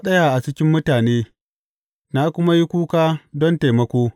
Na tsaya a cikin mutane, na kuma yi kuka don taimako.